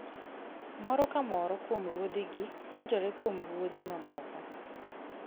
Moro ka moro kuom ruodhigi puonjore kuom ruodhi mamoko.